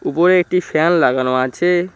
উপরে একটি ফ্যান লাগানো আছে।